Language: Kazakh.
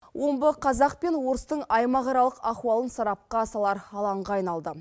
омбы қазақ пен орыстың аймақ аралық ахуалын сарапқа салар алаңға айналды